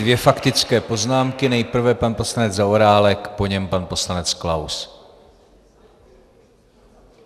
Dvě faktické poznámky, nejprve pan poslanec Zaorálek, po něm pan poslanec Klaus.